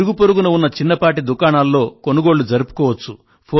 ఇరుగు పొరుగున ఉన్న చిన్నపాటి దుకాణాల్లో కొనుగోళ్ళు జరుపుకోవచ్చు